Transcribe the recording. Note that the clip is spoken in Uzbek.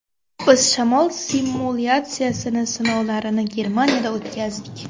Biz shamol simulyatsiyasini sinovlarini Germaniyada o‘tkazdik.